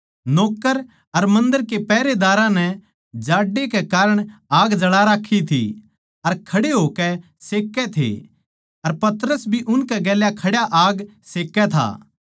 नौक्कर अर मन्दर के पहरेदार जाड्डै कै कारण आग जळा राक्खी थी अर खड़े होकै सेक्कै थे अर पतरस भी उनकै गेल्या खड्या आग सेक्कै था